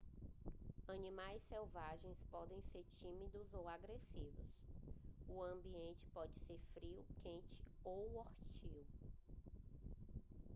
animais selvagens podem ser tímidos ou agressivos o ambiente pode ser frio quente ou hostil